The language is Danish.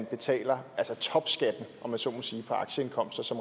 betaler topskatten om jeg så må sige af aktieindkomster